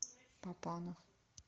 папанов